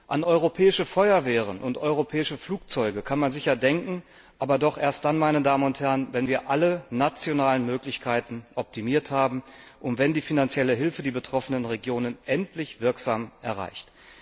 An europäische Feuerwehren und europäische Flugzeuge kann man sicher denken, aber doch erst dann, wenn wir alle nationalen Möglichkeiten optimiert haben und wenn die finanzielle Hilfe die betroffenen Regionen endlich wirksam erreicht.